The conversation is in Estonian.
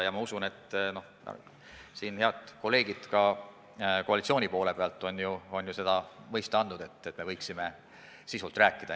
Ja head kolleegid koalitsiooni poole pealt on ju mõista andnud, et me võiksime asja sisuliselt arutada.